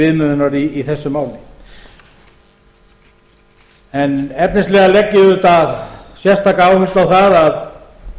viðmiðunar í þessu máli en efnislega legg ég auðvitað sérstaka áherslu á það að